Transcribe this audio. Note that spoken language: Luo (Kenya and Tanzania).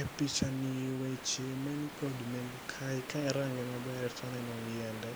E picha ni weche mani kod neng'o kae ka arange maber to aneno yiende.